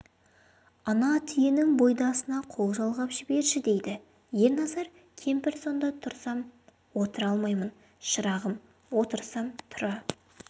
ана түйенің бұйдасына қол жалғап жіберші дейді ерназар кемпір сонда тұрсам отыра алмаймын шырағым отырсам тұра